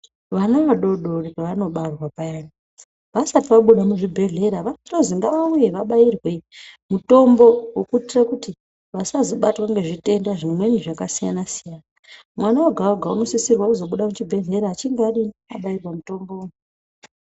Vana vadodori pevanobarwa payani ,vasati vabude muzvibhedhlera vanotozi ngavauye vabaiwe mutombo wekuitire kuti vasazobatirwa ngezvitenda zvimweni zvakasiyana siyana. Mwana wega wega unosisirwa kuzobuda muchibhedhleya abairwe mutombo.